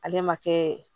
Ale ma kɛ